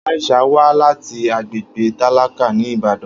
Aisha wá láti agbègbè tálákà ní Ìbàdàn